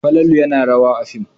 Falalu yana rawa a fim.